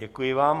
Děkuji vám.